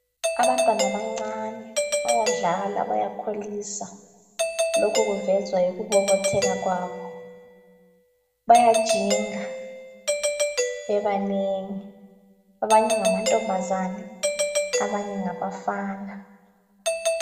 Abantwana abancane bayadlala bayakholisa lokhu kuvezwa yikubobotheka kwabo bayajinga bebanengi abanye ngamantombazane abanye ngabafana